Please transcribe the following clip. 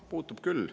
Puutub küll.